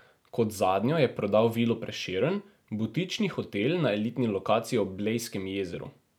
Kot zadnjo je prodal Vilo Prešeren, butični hotel na elitni lokaciji ob Blejskem jezeru.